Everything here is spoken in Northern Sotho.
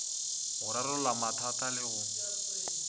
go rarolla mathata le go